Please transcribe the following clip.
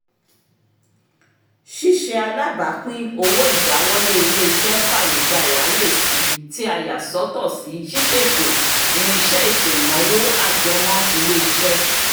ṣíṣe alábàápín owó ìdáwọlé iléeṣé fàyè gba ìráyèsí tí a yà sọ́tọ̀ sí ṣíṣètò irinṣẹ́ ètò ìnáwó ajẹmọ́-iléeṣẹ́